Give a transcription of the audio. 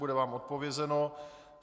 Bude vám odpovězeno.